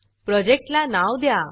प्रोजेक्टला नाव द्या